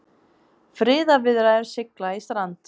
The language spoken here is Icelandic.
Friðarviðræður sigla í strand